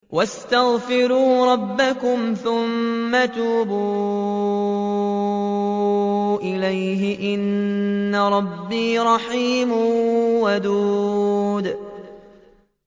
وَاسْتَغْفِرُوا رَبَّكُمْ ثُمَّ تُوبُوا إِلَيْهِ ۚ إِنَّ رَبِّي رَحِيمٌ وَدُودٌ